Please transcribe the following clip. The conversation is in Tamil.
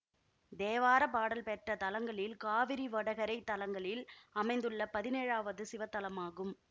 தேவார பாடல் பெற்ற தலங்களில் காவிரி வடகரைத் தலங்களில் அமைந்துள்ள பதினேழாவது சிவத்தலமாகும்